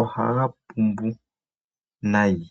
ohaga pumbu nayi.